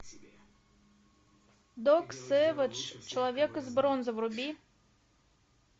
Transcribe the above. док сэвидж человек из бронзы вруби